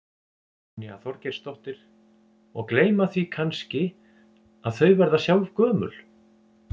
Brynja Þorgeirsdóttir: Og gleyma því kannski að þau verða sjálf gömul?